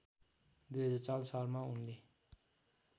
२००४ सालमा उनले